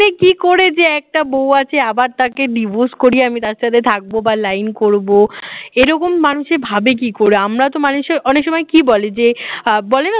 মানে কি করে যে একটা বউ আছে আবার তাকে divorce করিয়ে আমি তার সাথে থাকবো বা line করব এরকম মানুষ এ ভাবে কি করে আমরা তো মানুষে অনেক সময় কি বলে যে আহ বলে না